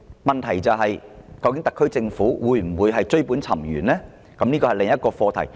問題是特區政府究竟會否追本溯源，這是需要探討的另一課題。